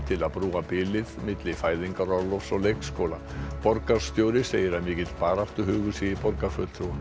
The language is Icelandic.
til að brúa bilið milli fæðingarorlofs og leikskóla borgarstjóri segir að mikill baráttuhugur sé í borgarfulltrúum